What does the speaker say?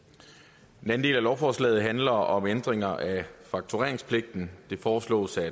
den del af lovforslaget handler om ændringer af faktureringspligten det foreslås at